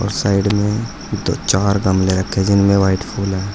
Side में दो चार गमले रखे जिनमे व्हाइट फूल है।